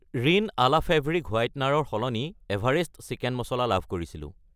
ৰিন Ala fabric whitener ৰ সলনি Everest chicken masala লাভ কৰিছিলোঁ।